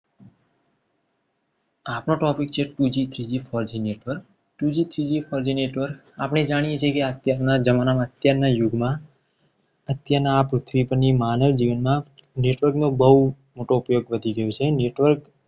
આજનો topic છે. two g three g four g network આપણે જાણીએ છીએ. કે અત્યારના જમાનામાં અત્યારના યુગમાં અત્યારની આ પૃથ્વી પરની માનવજીવનમાં network નો બહુ મોટો ફેર પહોંચી ગયો છે. network